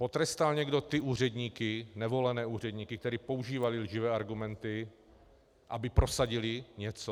Potrestal někdo ty úředníky, nevolené úředníky, kteří používali lživé argumenty, aby prosadili něco?